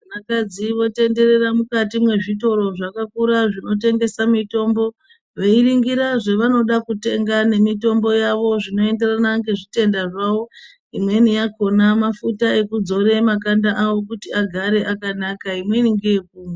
Vakadzi votenderera mukati mwezvitoro zvakakura zvinotengesa mitombo veiringira zvavanoda kutenga nemitombo yavo zvinoenderana ngezvitenda zvavo, imweni yakhona mafuta ekudzora makanda awo kuti agare akanaka, imweni neye kumwa.